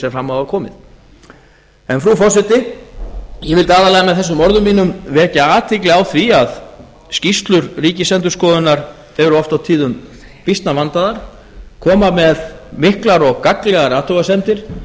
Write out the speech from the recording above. sem fram hafa komið frú forseti ég vildi aðallega með þessum orðum mínum vekja athygli á því að skýrslur ríkisendurskoðunar eru oft á tíðum býsna vandaðar koma með miklar og gagnlegar athugasemdir